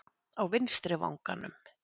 Á vinstri vanganum!